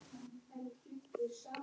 Bækur eftir Þorleif Einarsson